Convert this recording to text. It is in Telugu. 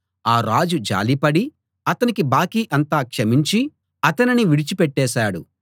ఆ రాజు జాలిపడి అతని బాకీ అంతా క్షమించి అతనిని విడిచి పెట్టేశాడు